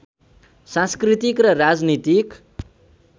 सांस्कृतिक र राजनीतिक